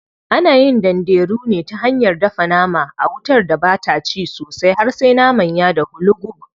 Ana yin danderu ne ta hanyar dafa nama a wutar da bata ci sosai har sai naman ya dahu lugub.